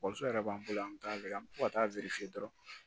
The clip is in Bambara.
yɛrɛ b'an bolo an t'a lajɛ an bɛ to ka taa dɔrɔn